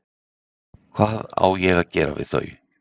Hvað á að gera við þau?